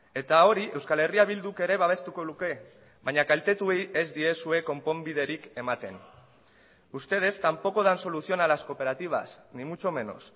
eta hori euskal herria bilduk ere babestuko luke baina kaltetuei ez diezue konponbiderik ematen ustedes tampoco dan solución a las cooperativas ni mucho menos